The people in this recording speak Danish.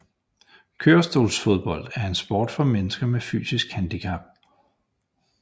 Kørestolsfodbold er en sport for mennesker med fysisk handicap